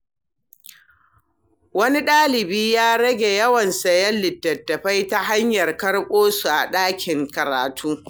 Wani dalibi ya rage yawan sayen littattafai ta hanyar karɓo su a ɗakin karatu.